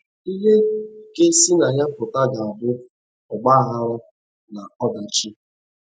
Ihe ga - esi na ya pụta ga - abụ ọgba aghara na ọdachi.